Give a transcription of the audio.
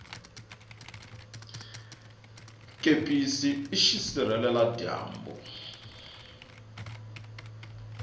kepisi i xisirhela dyambu